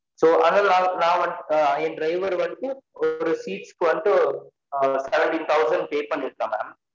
So அதுனால நான் நான் வந்துட்டு என் driver வந்துட்டு ஒரு seats கு வந்துட்டு seventeen thousand pay பண்ணிருக்கா mam